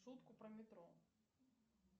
шутку про метро